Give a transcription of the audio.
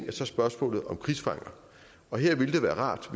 er så spørgsmålet om krigsfanger og her ville det være rart